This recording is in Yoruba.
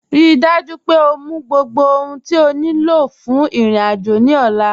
Ríí dájú pé ọ mú gbogbo ohun tí o ní lọ fún irin-ájò ní ọ̀là